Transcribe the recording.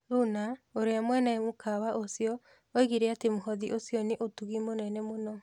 Luna, ũrĩa mwene mũkawa ũcio, oigire atĩ mũhothi ũcio nĩ 'ũtugi mũnene mũno.'